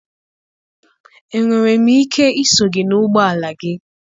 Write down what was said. Enwere m ike iso gị n'ụgbọ ala gị?